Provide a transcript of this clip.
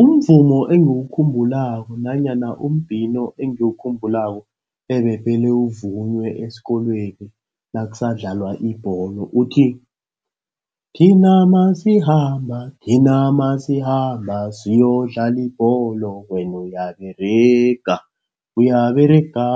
Umvumo engiwukhumbulako nanyana umbhino engiwukhumbulako ebephele uvunyelwe esikolweni nakusanda idlalwa ibholo uthi, thina nasikhamba, thina nasikhamba siyokudlala ibholo wena uyaberega. Uyaberega,